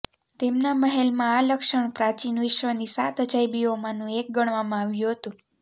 તેમના મહેલમાં આ લક્ષણ પ્રાચીન વિશ્વની સાત અજાયબીઓમાંનું એક ગણવામાં આવ્યું હતું